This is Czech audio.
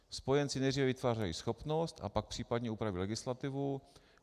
Spojenci nejdříve vytvářejí schopnost, a pak případně upravují legislativu.